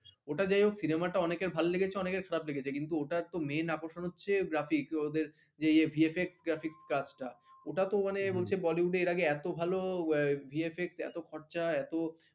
ওটা যাই হোক cinema টা অনেকের ভালো লেগেছে অনেকের খারাপ লেগেছে কিন্তু ওটা তো main আকর্ষণ হচ্ছে graphics ওদের যে VFX graphics কাজটা ওটাতো মানে বলছে bollywood এর আগে এত ভালো VFX এত খরচা